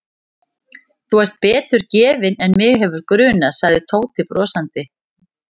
Þú ert betur gefinn en mig hefði grunað sagði Tóti brosandi.